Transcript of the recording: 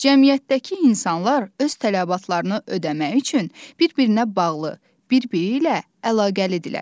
Cəmiyyətdəki insanlar öz tələbatlarını ödəmək üçün bir-birinə bağlı, bir-biri ilə əlaqəlidirlər.